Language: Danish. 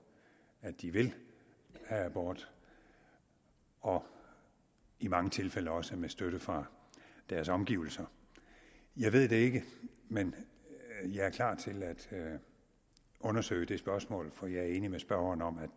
at de vil have abort og i mange tilfælde også med støtte fra deres omgivelser jeg ved det ikke men jeg er klar til at undersøge det spørgsmål for jeg er enig med spørgeren om at